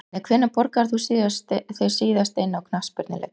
Nei Hvenær borgaðir þú þig síðast inn á knattspyrnuleik?